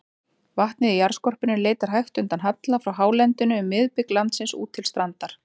Vatnið í jarðskorpunni leitar hægt undan halla frá hálendinu um miðbik landsins út til strandar.